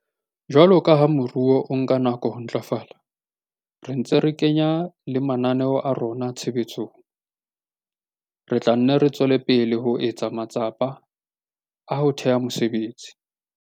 Jwalo ka ha moruo o nka nako ho ntlafala, re ntse re kenya le mananeo a rona tshebetsong, re tla nne re tswele pele ho etsa matsapa a ho theha mesebetsi.